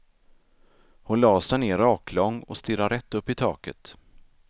Hon lade sig ner raklång och stirrade rätt upp i taket.